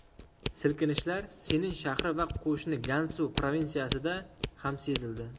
Silkinishlar Sinin shahri va qo‘shni Gansu provinsiyasida ham sezildi.